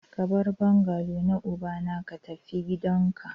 Ka bar bungalow na ubana ka tafi gidanka!